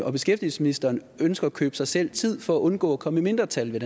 og beskæftigelsesministeren ønsker at købe sig selv tid for at undgå at komme i mindretal det